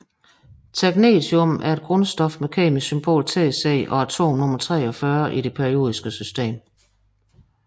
Technetium er et grundstof med kemisk symbol Tc og atomnummer 43 i det periodiske system